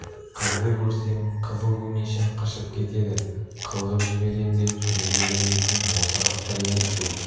қызды көрсем қызыл өңешім қышып кетеді қылғып жіберем де жүре берем дейтін осы қасқыр емес пе